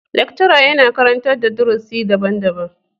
Lecturer yana karantar da darusi daban-daban.